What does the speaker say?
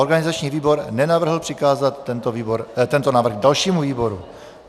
Organizační výbor nenavrhl přikázat tento návrh dalšímu výboru.